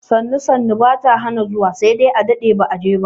Sannu sannu ba ta hana zuwa sai dai a daɗe ba a je ba.